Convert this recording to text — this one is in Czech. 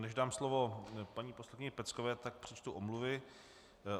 Než dám slovo paní poslankyni Peckové, tak přečtu omluvy.